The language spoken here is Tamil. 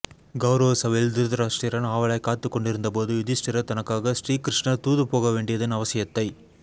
கௌரவ சபையில் திருதராஷ்டிரன் ஆவலாய் காத்துக் கொண்டிருந்தபோது யுதிஷ்டிரர் தனக்காக ஸ்ரீகிருஷ்ணர் தூது போக வேண்டியதின் அவசியத்தை